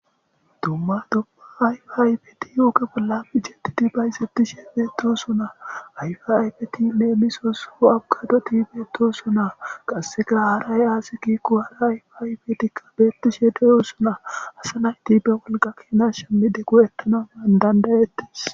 Dumma dobba ayfe aybeti ooge bolla bijetidi bayssettisheebeetosuna ayfeaybeti leemmisoosuo abqado tiibeto sunaa qasse girahara y-aasi kikku hara ayfiaybeetikka beettishe deyo suna asa naytibe wolga keenas shemmide go7ettana maandandayettis